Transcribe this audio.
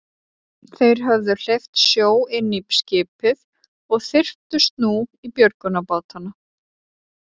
Þeir höfðu hleypt sjó inn í skipið og þyrptust nú í björgunarbátana.